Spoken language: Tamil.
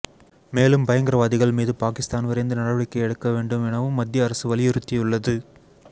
மேலும் பயங்கரவாதிகள் மீது பாகிஸ்தான் விரைந்து நடவடிக்கை எடுக்க வேண்டும் எனவும் மத்திய அரசு வலியுறுத்தியுள்ளது